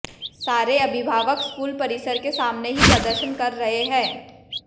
सारे अभिभावक स्कूल परिसर के सामने ही प्रदर्शन कर रहे हैं